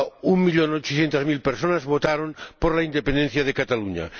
Un millón ochocientas mil personas votaron por la independencia de Cataluña.